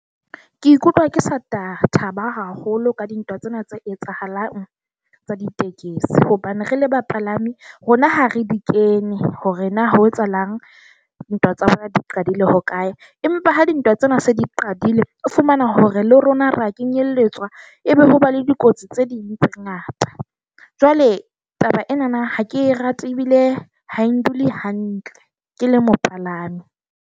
Ke ikutlwa ke sa thaba haholo ka dintwa tsena tse etsahalang tsa ditekesi. Hobane re le bapalami, rona ha re di kene hore na ho etsahalang. Dintwa tsa bona di qadile ho kae. Empa ha dintwa tsena se di qadile ho fumana hore le rona ra kenyelletswa ebe ho ba le dikotsi tse ding tse ngata. Jwale taba enana ha ke rate ebile ha e ndule hantle ke le mopalami.